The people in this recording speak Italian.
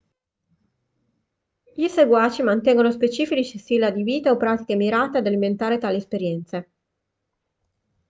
i seguaci mantengono specifici stili di vita o pratiche mirate ad alimentare tali esperienze